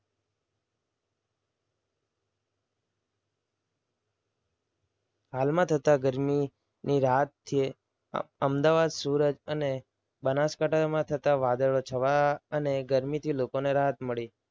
હાલમાં થતા ગરમીની રાત્રે અમદાવાદ સુરત અને બનાસકાંઠામાં થતા વાદળો છવાયા અને લોકોને ગરમીથી રાહત મળી.